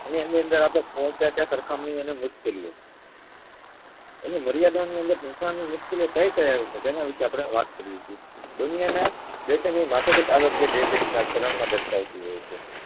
તેની અંદર અપડે પોહ્ચ્યા તા સરખાનીઓ અને મુશ્કેલીઓ અને મર્યાદા અને મુશ્કેલીઓ કઈ કઈ આવે છે તેના વિષે અપડે વાત કરીયે છીએ દુનિયા ના